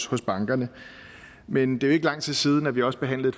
hos bankerne men det er jo ikke lang tid siden vi også behandlede